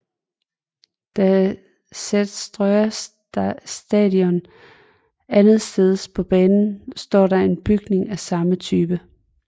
På Seterstøa Station andetsteds på banen står der en bygning af samme type